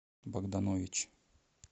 богданович